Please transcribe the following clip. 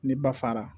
Ni ba fara